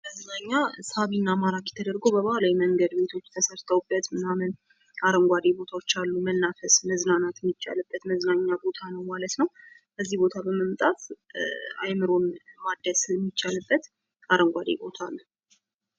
ይህ መዝናኛ ሳቢና ማርኪ ቤቶች ተሰርተውበት ምናምን፣ አረንጓዴ ቦታዎች ያሉት መናፈስና መዝናናት የሚቻልበት እንዲሁም እዚህ ቦታ በመምጣት መፈንፈስን ማደስ የሚቻልበት አረንጓዴ ቦታ ነው።